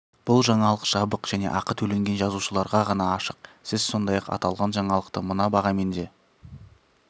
бұл жаңалық жабық және ақы төлеген жазылушыларға ғана ашық сіз сондай-ақ аталған жаңалықты мына бағамен де